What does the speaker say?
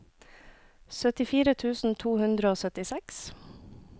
syttifire tusen to hundre og syttiseks